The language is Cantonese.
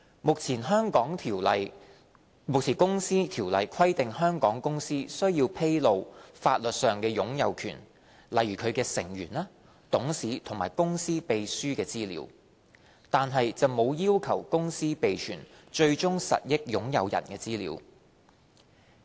目前《公司條例》規定香港公司須披露法律上的擁有權，例如其成員、董事和公司秘書的資料，但沒有要求公司備存最終實益擁有人的資料。